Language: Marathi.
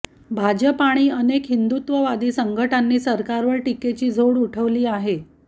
भाजप आणि अनेक हिंदुत्ववादी संघटनांनी सरकारवर टीकेची झोड उठवली आहे